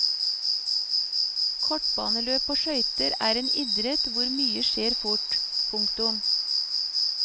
Kortbaneløp på skøyter er en idrett hvor mye skjer fort. punktum